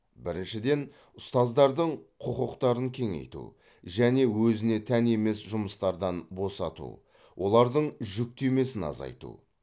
біріншіден ұстаздардың құқықтарын кеңейту және өзіне тән емес жұмыстардан босату олардың жүктемесін азайту